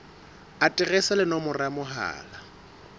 aterese le nomoro ya mohala